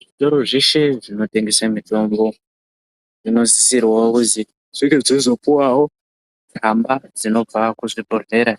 Zvitoro zveshe zvinotengese mitombo zvinosisirwawo kuzi zvinge zvichizopuwawo tsamba dzinobva kuzvibhedhlera